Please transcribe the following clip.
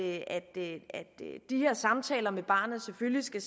at de her samtaler med barnet selvfølgelig skal